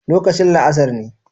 Lokacin la'asar ne